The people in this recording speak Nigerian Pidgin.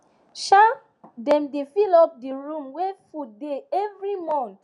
um dem dey fill up di room wey food dey every month